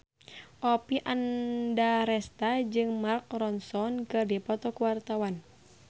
Oppie Andaresta jeung Mark Ronson keur dipoto ku wartawan